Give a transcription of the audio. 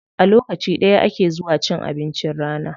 A lokaci ɗaya ake zuwa cin abincin rana.